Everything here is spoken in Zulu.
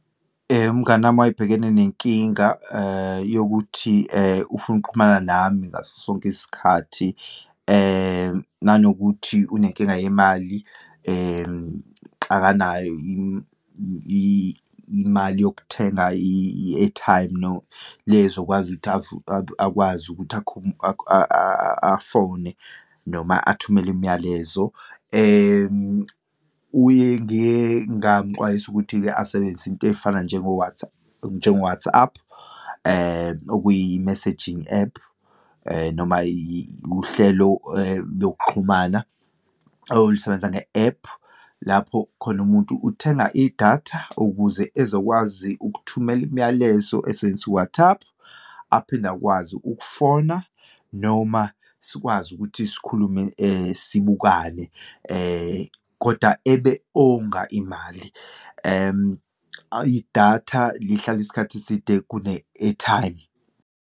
Umngani wami wayebhekene nenkinga yokuthi ufuna ukuxhumana nami ngaso sonke isikhathi, nanokuthi unenkinga yemali, akanayo imali yokuthenga i-airtime, le ezokwazi ukuthi akwazi ukuthi afone noma athumele imiyalezo. Uye, ngiye ngamxwayisa ukuthi-ke asebenzise iyinto eyifana , njengo-WhatsApp, okuyi messaging ephu noma uhlelo lokuxhumana olusebenza nge ephu. Lapho khona umuntu uthenga idatha ukuze ezokwazi ukuthumela imiyalezo, esebenzisa u-WhatsAapp, aphinde akwazi ukufona noma sikwazi ukuthi sikhulume sibukane koda ebe onga imali, idatha lihlala isikhathi eside kune-airtime.